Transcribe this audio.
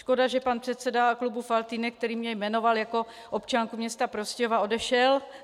Škoda, že pan předseda klubu Faltýnek, který mě jmenoval jako občanku města Prostějova, odešel.